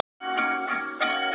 Það gekk ansi vel.